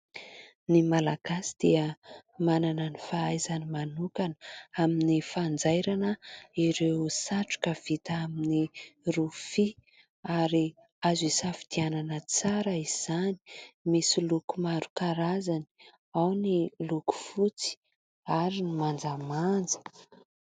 Ny malagasy dia manana ny fahaizany manokana amin'ny fanjairana ireo satroka vita amin'ny rofia. Ary azo isafidianana tsara izany. Misy loko maro karazany ao ny loko fotsy ary ny manjamanja.